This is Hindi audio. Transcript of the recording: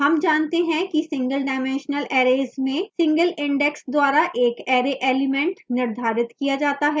हम जानते हैं कि single dimensional arrays में single index द्वारा एक array element निर्धारित किया जाता है